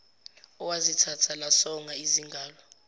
owazithatha lasonga izingalo